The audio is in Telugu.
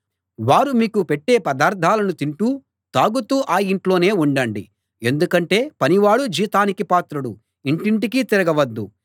వారు మీకు పెట్టే పదార్థాలను తింటూ తాగుతూ ఆ ఇంట్లోనే ఉండండి ఎందుకంటే పనివాడు జీతానికి పాత్రుడుఇంటింటికీ తిరగవద్దు